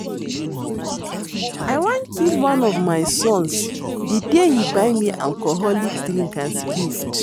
I wan kill one of my sons the day he buy me alcoholic drink as gift